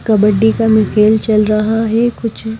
कबड्डी का में खेल चल रहा है कुछ--